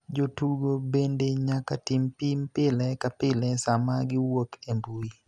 Jotugo bende nyaka tim pim pile ka pile sama giwuok e mbui.